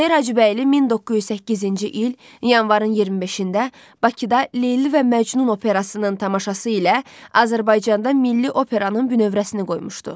Üzeyir Hacıbəyli 1908-ci il yanvarın 25-də Bakıda Leyli və Məcnun operasının tamaşası ilə Azərbaycanda milli operanın bünövrəsini qoymuşdu.